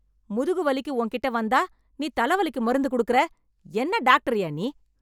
முதுகு வலிக்கு உன் கிட்ட வந்தா நீ தல வலிக்கு மருந்து குடுக்குற, என்ன டாக்டர் யா நீ?